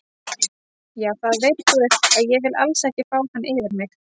Já það veit guð að ég vil alls ekki fá hann yfir mig.